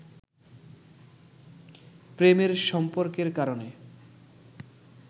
প্রেমের সম্পর্কের কারণে